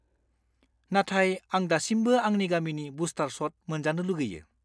नाथाय आं दासिमबो आंनि गामिखौ बुस्टार शट मोनजानो लुगैयो।